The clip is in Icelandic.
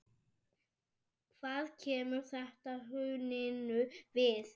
Hvað kemur þetta hruninu við?